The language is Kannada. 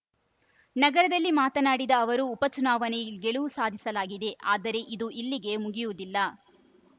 ನಗರದಲ್ಲಿ ಮಾತನಾಡಿದ ಅವರು ಉಪ ಚುನಾವಣೆ ಗೆಲುವು ಸಾಧಿಸಲಾಗಿದೆ ಆದರೆ ಇದು ಇಲ್ಲಿಗೆ ಮುಗಿಯುವುದಿಲ್ಲ